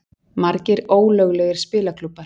Margir ólöglegir spilaklúbbar